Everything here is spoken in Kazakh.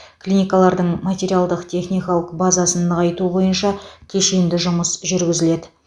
клиникалардың материалдық техникалық базасын нығайту бойынша кешенді жұмыс жүргізіледі